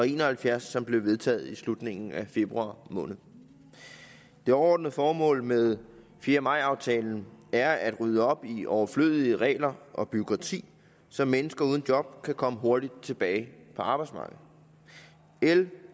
en og halvfjerds som blev vedtaget i slutningen af februar måned det overordnede formål med fjerde maj aftalen er at rydde op i overflødige regler og bureaukrati så mennesker uden job kan komme hurtigt tilbage på arbejdsmarkedet l